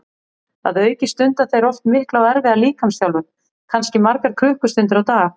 Að auki stunda þeir oft mikla og erfiða líkamsþjálfun, kannski margar klukkustundir á dag.